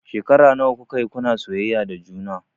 Shekara nawa kuka yi kuna soyayya da juna?